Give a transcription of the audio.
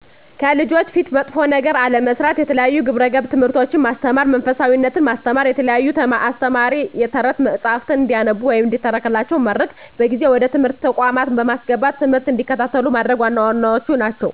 ከልጆች ፊት መጥፎ ነገር አለመስራት፣ የተለያዩ የግብረ ገብ ትምህርቶችን ማስተማር፣ መንፈሳዊነትን ማስተማ፣ የተለያዩ አስተማሪ የተረት መፀሀፍትን እንዲያነቡም ሆነ እንዲተረክላቸው ማድረግ፣ በጊዜ ወደ ትምህርት ተቋማት በማስገባት ትምህርት እንዲከታተሉ ማድረግ ዋና ዋናዎቹ ናቸው።